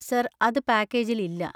Sir, അത് പാക്കേജിൽ ഇല്ല.